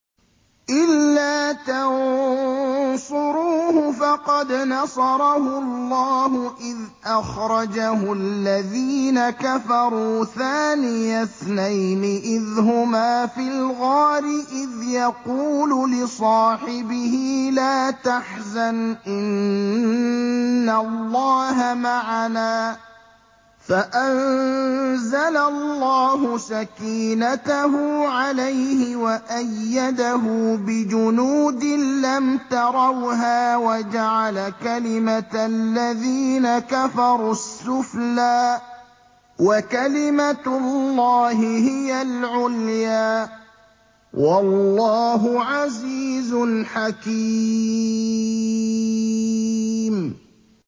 إِلَّا تَنصُرُوهُ فَقَدْ نَصَرَهُ اللَّهُ إِذْ أَخْرَجَهُ الَّذِينَ كَفَرُوا ثَانِيَ اثْنَيْنِ إِذْ هُمَا فِي الْغَارِ إِذْ يَقُولُ لِصَاحِبِهِ لَا تَحْزَنْ إِنَّ اللَّهَ مَعَنَا ۖ فَأَنزَلَ اللَّهُ سَكِينَتَهُ عَلَيْهِ وَأَيَّدَهُ بِجُنُودٍ لَّمْ تَرَوْهَا وَجَعَلَ كَلِمَةَ الَّذِينَ كَفَرُوا السُّفْلَىٰ ۗ وَكَلِمَةُ اللَّهِ هِيَ الْعُلْيَا ۗ وَاللَّهُ عَزِيزٌ حَكِيمٌ